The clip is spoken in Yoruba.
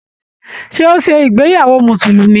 Ṣé o ṣe ìgbéyàwó musulumi?